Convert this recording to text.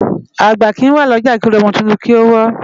Agbá ki wá Loja ki ôri òmò tútún ki ó wò